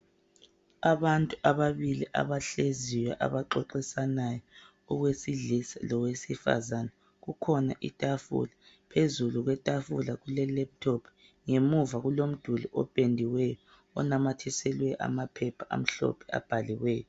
Abantu ababili abahleziyo abaxoxisanayo, owesilisa lowesifazana. Kukhona itafula. Phezulu kwetafula kulelaptop. Ngemuva kulomduli ophendiweyo onamathiselwe amaphepha amhlophe abhaliweyo.